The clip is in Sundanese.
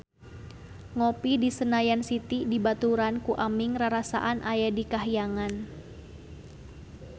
Ngopi di Senayan City dibaturan ku Aming rarasaan aya di kahyangan